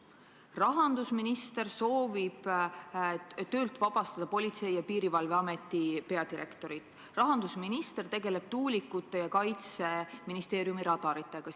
Rahandusminister soovib töölt vabastada Politsei- ja Piirivalveameti peadirektorit, rahandusminister tegeleb tuulikute ja Kaitseministeeriumi radaritega.